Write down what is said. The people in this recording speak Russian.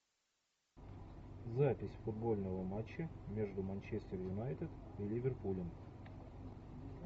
запись футбольного матча между манчестер юнайтед и ливерпулем